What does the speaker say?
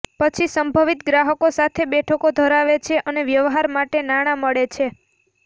પછી સંભવિત ગ્રાહકો સાથે બેઠકો ધરાવે છે અને વ્યવહાર માટે નાણાં મળે છે